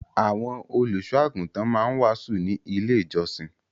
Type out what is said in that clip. Àwọn olùṣọ́-àgùntàn máa ń wàásù ní Ilé-ìjọsìn.